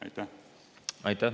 Aitäh!